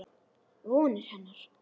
Vonir hennar.